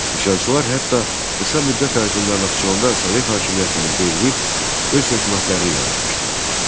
Üsyançılar hətta qısa müddət ərzində Naxçıvanda Sovet hakimiyyətini devrib öz hökumətlərini yaratmışdılar.